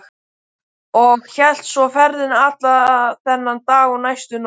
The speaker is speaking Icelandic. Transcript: Og hélt svo ferðinni allan þann dag og næstu nótt.